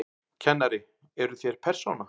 Kennari: Eruð þér persóna?